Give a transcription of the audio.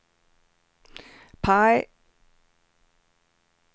PIE